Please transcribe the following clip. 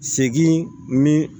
Segin ni